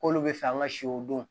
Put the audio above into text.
K'olu bɛ fɛ an ka siw don